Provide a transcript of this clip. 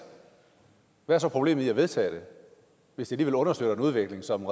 hvad er så problemet i at vedtage det hvis det understøtter en udvikling som